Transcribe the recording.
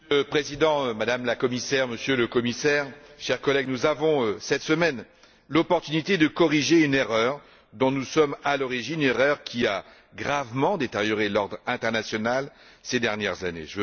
Monsieur le Président, Madame la Commissaire, Monsieur le Commissaire, chers collègues, nous avons, cette semaine, l'occasion de corriger une erreur dont nous sommes à l'origine, erreur qui a gravement détérioré l'ordre international ces dernières années.